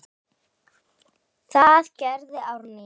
Það gerði Árný.